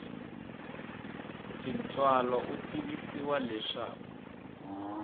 hi tintswalo u tivisiwa leswaku